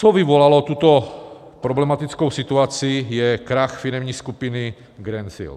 Co vyvolalo tuto problematickou situaci, je krach firemní skupiny Greensill.